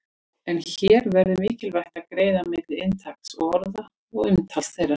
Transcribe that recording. En hér verður mikilvægt að greina milli inntaks orða og umtaks þeirra.